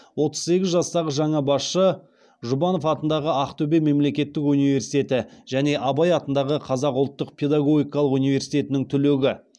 отыз сегіз жастағы жаңа басшы жұбанов атындағы ақтөбе мемлекеттік университеті және абай атындағы қазақ ұлттық педагогикалық университетінің түлегі